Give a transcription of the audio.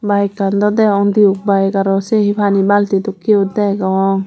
bike kan daw degong duke byk araw se hi pani balti dokke yo degong.